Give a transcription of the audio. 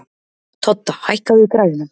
Todda, hækkaðu í græjunum.